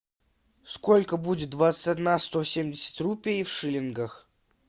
сколько будет двадцать одна сто семьдесят рупий в шиллингах